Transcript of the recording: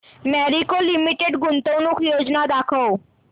Marico Limited गुंतवणूक योजना दाखव